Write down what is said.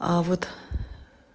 а вот